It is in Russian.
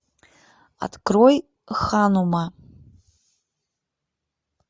открой ханума